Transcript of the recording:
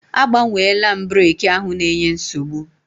Agbanweela m breki ahụ na-enye nsogbu.